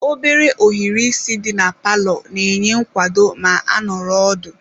Obere ohiri isi di na palọ na-enye nkwado ma a nọrọ ọdụ.